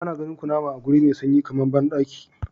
Ana ganin kunama a wuri mai sanyi kamar bandaki.